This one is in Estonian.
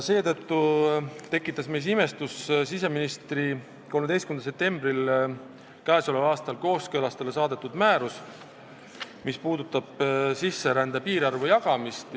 Seetõttu tekitas meis imestust siseministri 13. septembril k.a kooskõlastusele saadetud määrus, mis käsitleb sisserände piirarvu jagamist.